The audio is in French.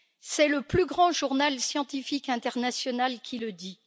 C'est le plus grand journal scientifique international qui le dit.